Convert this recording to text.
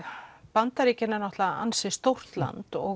Bandaríkin eru ansi stórt land og